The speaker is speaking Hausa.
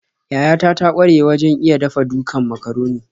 Yayata ta ƙware wajen iya dafa-dukan macaroni.